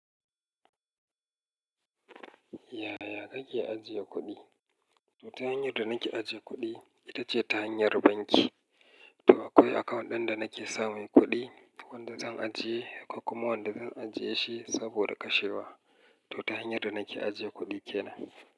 Yaya kake ajiye kuɗi? To ta hanyar da nake ajiye kuɗi ita ce ta hanyar banki. To akwai account ɗin da nake samun kuɗi, wanda zan ajiye kuma wanda zan ajiye shi saboda kashewa. To ta hanyar da nake ajiye kuɗi ke nan.